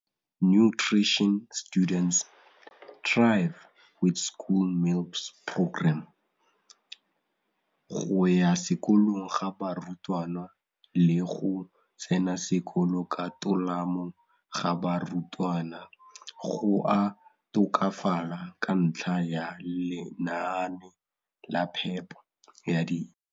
go ya sekolong ga barutwana le go tsena sekolo ka tolamo ga barutwana go a tokafala ka ntlha ya lenaane la phepo ya dijo.